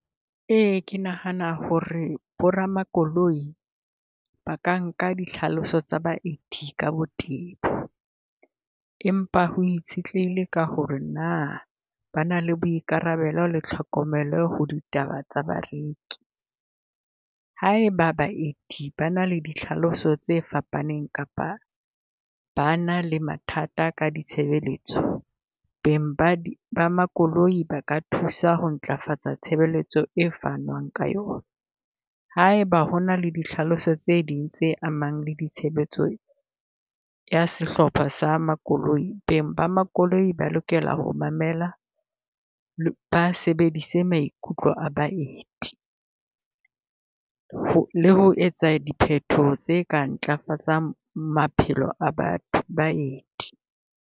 Ee, ke nahana ho re bo ramakoloi ba ka nka ditlhaloso tsa baeti ka botebo. Empa ho itshetlehile ka ho re na ba na le boikarabelo le tlhokomelo ho ditaba tsa bareki. Ha eba baeti ba na le ditlhaloso tse fapaneng kapa ba na le mathata ka ditshebeletso, beng ba , ba makoloi ba thusa ho ntlafatsa tshebeletso e fanwang ka yona. Ha eba hona le di tlhaloso tse ding tse amang le ditshebetso ya sehlopha sa makoloi, beng ba makoloi ba lokela ho mamela ba sebedise maikutlo a baeti. Ho, le ho etsa diphetoho tse ka ntlafatsang maphelo a batho, baeti.